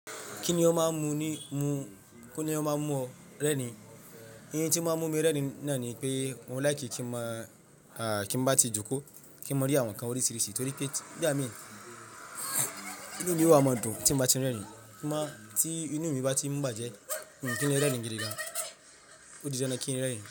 Kíni ó máa ń mú ọ rẹ́rìn? Oun tí ó máa ń mú mi rẹ́rìn náà ni pé mò like kí n máa tí mo bá ti jókòó, kí n máa rí àwọn nǹkan oríṣiríṣi torí pé nigba mií, inú mi o wà máa dùn tí bá ti ń rẹ́rìn. Kí máa tí inú mi bá ti ń bàjẹ́, mii kin rẹ́rìn gidigan. Ó di dandan kí n rẹ́rìn.